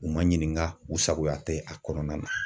U ma ɲininka , u sagoya tɛ a kɔnɔna na.